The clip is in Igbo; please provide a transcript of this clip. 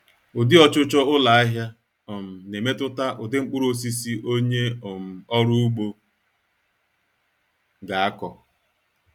Ụdị ọchụchọ ụlọahịa um na-emetụta ụdị mkpurụosisi onye um ọrụ ugbo ga-akọ